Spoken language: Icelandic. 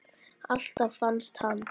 Alltaf fannst hann.